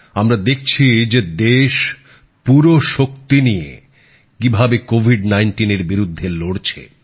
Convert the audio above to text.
আমরা দেখছি যে দেশ পুরো শক্তি নিয়ে কিভাবে কোভিড নাইনটিনের বিরুদ্ধে লড়ছে